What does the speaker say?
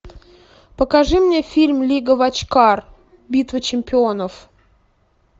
покажи мне фильм лига вотчкар битва чемпионов